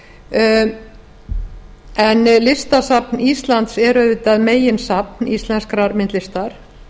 áðan en listasafn íslands er auðvitað meginsafn íslenskrar myndlistar